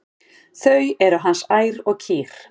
Þau eru hans ær og kýr.